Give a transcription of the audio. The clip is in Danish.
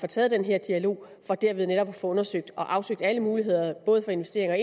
taget den her dialog for derved netop at få undersøgt og afsøgt alle muligheder for investeringer